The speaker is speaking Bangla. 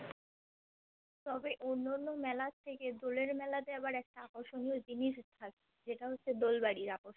তবে অন্য অন্য মেলার থেকে দোলের মেলাতে আবার একটা আকর্ষণীয় জিনিস থাকে যেটা হচ্ছে দোলবাড়ি